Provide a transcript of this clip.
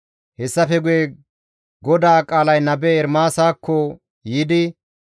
Hessafe guye GODAA qaalay nabe Ermaasakko yiidi,